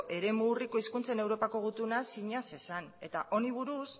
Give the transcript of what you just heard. eremu urriko hizkuntzen europako gutuna sina zezan eta honi buruz